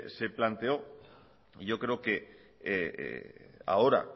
se planteó yo creo que ahora